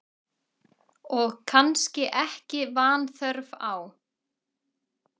Og kannski ekki vanþörf á.